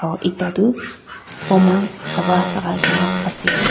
ekta tuh formal kapra lagaigena ase.